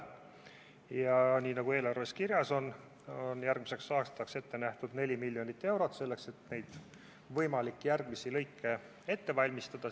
Ja nagu eelarves on kirjas, on järgmiseks aastaks ette nähtud 4 miljonit eurot, et neid võimalikke järgmisi teelõike ette valmistada.